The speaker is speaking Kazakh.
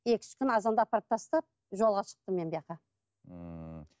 екі үш күн азанда апарып тастап жолға шықтым